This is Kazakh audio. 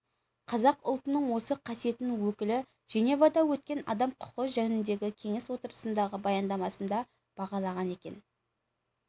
қазақ ұлтының осы қасиетін өкілі женевада өткен адам құқы жөніндегі кеңес отырысындағы баяндамасында бағалаған екен